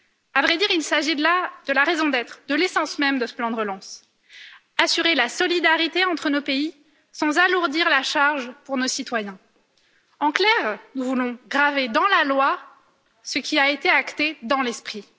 À vrai dire, il s'agit de la raison d'être, de l'essence même de ce plan de relance assurer la solidarité entre nos pays, sans alourdir la charge pour nos citoyens. En clair, nous voulons graver dans la loi ce qui a été acté dans l'esprit.